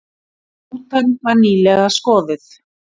Rútan var nýlega skoðuð